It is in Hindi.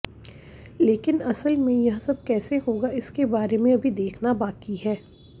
लेकिन असल में यह सब कैसे होगा इसके बारे में अभी देखना बाकी है